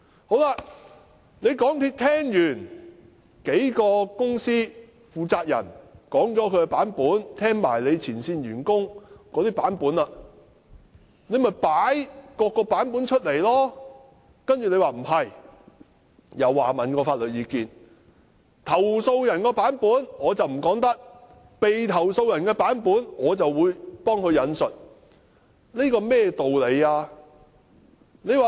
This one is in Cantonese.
港鐵公司聽過幾間公司負責人及前線員工的"版本"後，便應將"版本"公開，但實情不是，詢問法律意見後，認為投訴人的"版本"不能公開，被投訴的公司的"版本"卻可以代為引述，這是甚麼道理？